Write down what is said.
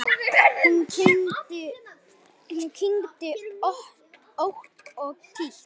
Hún kyngdi ótt og títt.